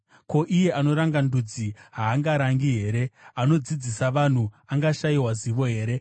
Ko, iye anoranga ndudzi haangarangi here? Anodzidzisa vanhu angashayiwa zivo here?